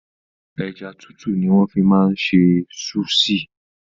Ẹja tútù ni wọ́n fi máa ń ṣe súṣì.